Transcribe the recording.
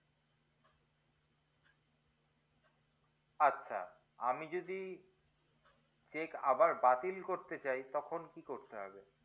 আচ্ছা আমি যদি check আবার বাতিল করতে চাই তখন কি করতে হবে